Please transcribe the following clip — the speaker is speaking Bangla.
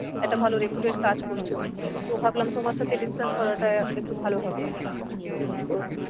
একটা ভালো reputed কাজ করছো। তো ভাবলাম তোমার সাথে discuss করাটা একটু ভালো হবে। তো